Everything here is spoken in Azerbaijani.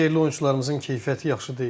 Bizim yerli oyunçularımızın keyfiyyəti yaxşı deyil.